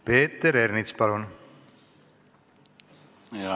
Peeter Ernits, palun!